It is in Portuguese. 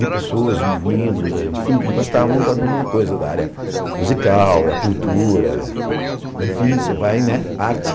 de pessoas, meninos, enfim, que gostavam da mesma coisa, da área musical, da cultura, enfim, você vai, né, arte.